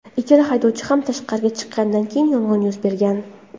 Ikkala haydovchi ham tashqariga chiqqanidan keyin yong‘in yuz bergan.